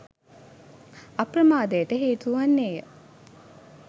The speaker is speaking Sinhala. අප්‍රමාදයට හේතු වන්නේ ය